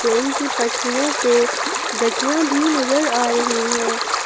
Train की पटरियों पे गठिया भी नजर आ रही हैं।